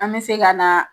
An bɛ se ka na